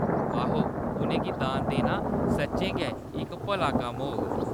आहो, उʼनें गी दान देना सच्चें गै इक भला कम्म होग।